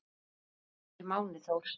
Sonur Vals er Máni Þór.